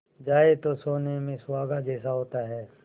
जाए तो सोने में सुहागा जैसा होता है